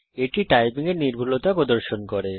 এটি টাইপিং এর নির্ভুলতা প্রদর্শন করে